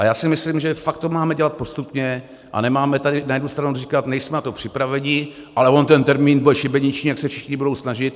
A já si myslím, že to fakt máme dělat postupně a nemáme tady na jednu stranu říkat: nejsme na to připraveni, ale on ten termín bude šibeniční, tak se všichni budou snažit.